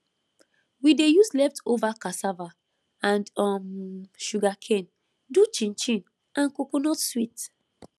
we dey use leftover cassava and um sugarcane do chinchin and coconut sweet